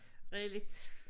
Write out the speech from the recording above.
Real 1